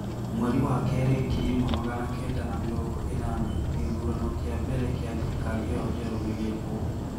Mweri wa kerĩ ngiri ĩmwe magana kenda na mĩrongo ĩnana gĩthurano kĩa mbere kĩa thirikari ĩyo njerũ gĩgĩkwo.